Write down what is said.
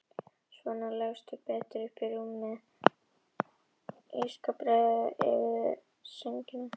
Svona leggstu betur upp í rúmið og ég skal breiða yfir þig sængina.